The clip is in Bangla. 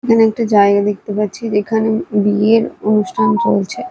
এবং একটা জায়গা দেখতে পাচ্ছি যেখানে বিয়ের অনুষ্ঠান চলছে।